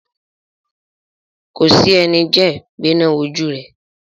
Kòsí ẹni jẹ́ gbéná wojú rẹ̀.